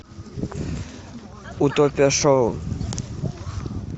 утопия шоу